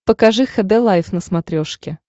покажи хд лайф на смотрешке